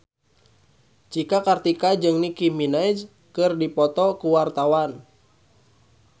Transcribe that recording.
Cika Kartika jeung Nicky Minaj keur dipoto ku wartawan